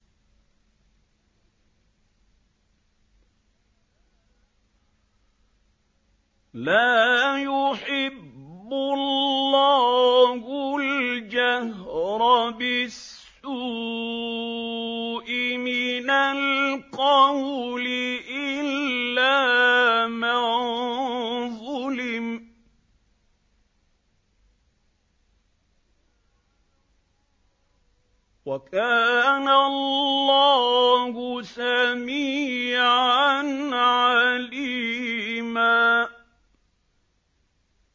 ۞ لَّا يُحِبُّ اللَّهُ الْجَهْرَ بِالسُّوءِ مِنَ الْقَوْلِ إِلَّا مَن ظُلِمَ ۚ وَكَانَ اللَّهُ سَمِيعًا عَلِيمًا